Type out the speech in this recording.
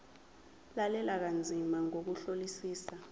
lalela kanzima ngokuhlolisisa